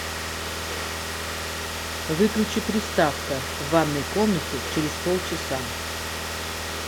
выключи приставка в ванной комнате через полчаса